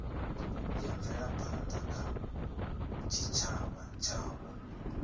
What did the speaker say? ya mvelaphanda kha tshitshavha tshavho